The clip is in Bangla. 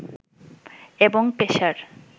এবং পেশার